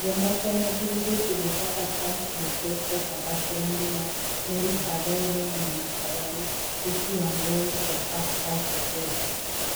Jomoko ne gin jotugo kaka Charles Bukeko (Papa Shirandula), Mary Khavere (Mama Kayai), Lucy Wangui kod Pascal Tokodi.